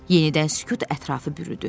Yenidən sükut ətrafı bürüdü.